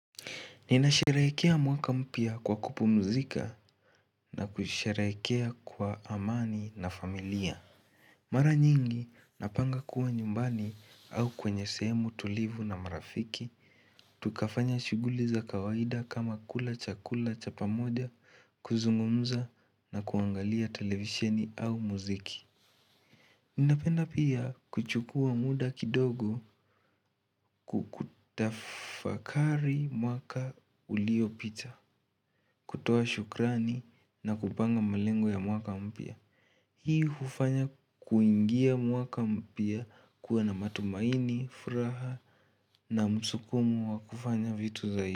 Ninasherehekea mwaka mpya kwa kupumzika na kusherehekea kwa amani na familia. Mara nyingi napanga kuwa nyumbani au kwenye sehemu tulivu na marafiki. Tukafanya shughuli za kawaida kama kula chakula cha pamoja kuzungumza na kuangalia televisheni au muziki. Ninapenda pia kuchukua muda kidogo kutafakari mwaka uliopita. Kutoa shukrani na kupanga malengo ya mwaka mpya Hii hufanya kuingia mwaka mpya kuwa na matumaini, furaha na msukumo wa kufanya vitu zaidi.